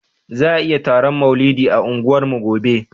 Za ayi taron maulidi a unguwarmu gobe